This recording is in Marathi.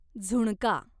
झुणका